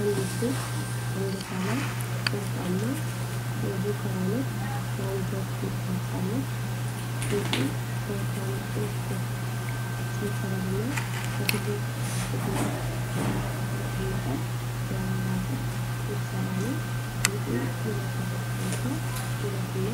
አንዲት ሴት አንገቷ ላይ ወርቃማ የጆከር አይነት የአንገት ጌጥ ለብሳለች። ጌጡ ከወፍራም ጥልፍልፍ ሰንሰለትና በትልቅ ክብ ጌጥ ላይ ከተቀመጠ የአበባ ቅርጽ የተሰራ ነው። ጌጡ የለበሰችውን ሰው ውበትና